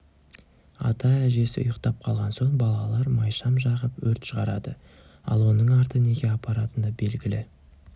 ата-әжесі ұйықтап қалған соң балалар майшам жағып өрт шығарады ал оның арты неге апаратыны белгілі